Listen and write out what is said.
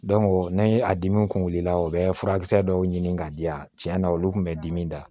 n'an ye a dimiw kun wulila u bɛ furakisɛ dɔw ɲini k'a di yan tiɲɛ na olu kun bɛ dimi da